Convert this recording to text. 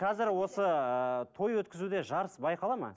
қазір осы ы той өткізуде жарыс байқалады ма